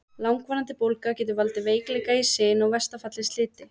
Langvarandi bólga getur valdið veikleika í sin og í versta falli sliti.